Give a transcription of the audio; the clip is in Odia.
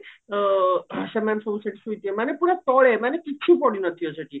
ଅ ସେମାନେ ସବୁ ସେଠି ଶୋଇଥିବେ ମାନେ ପୁରା ତଳେ ମାନେ କିଛି ପଡିନଥିବା ସେଠି